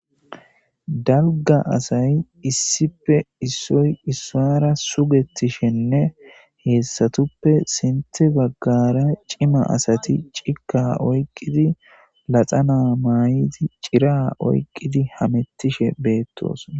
dalga asayi issipe issoy issara sugettishenne heessatuppe sinte baggara cima asati cika oyqqidi laxana maay7idi cira oyqqidi hamettishe beettosna